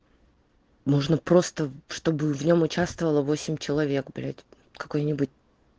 можно просто чтобы в нем участвовало восемь человек блядь какой-нибудь